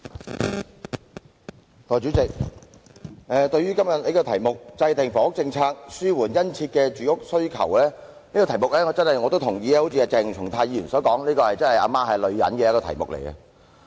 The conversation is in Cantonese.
代理主席，對於今天這項"制訂房屋政策紓緩殷切住屋需求"的議案，我同意鄭松泰議員所說，這是一項"阿媽是女人"的議題。